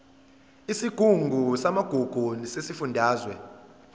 isigungu samagugu sesifundazwe